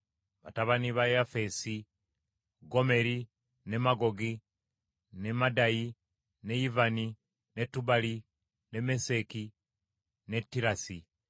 Batabani ba Yafeesi: Gomeri, ne Magogi, ne Madayi, ne Yivani, ne Tubali ne Meseki ne Tirasi.